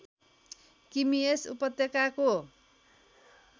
किमी यस उपत्यकाको